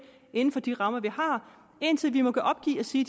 inden for de rammer vi har indtil vi må opgive og sige